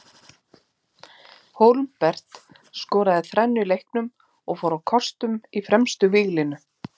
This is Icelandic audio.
Hólmbert skoraði þrennu í leiknum og fór á kostum í fremstu víglínu.